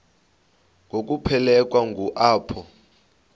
ngokuphelekwa ngu apho